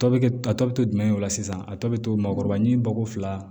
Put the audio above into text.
Tɔ bɛ kɛ a tɔ bɛ to jumɛn de la sisan a tɔ bɛ to maakɔrɔba ni bako fila